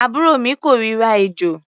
Àbúrò mi kórira ejò.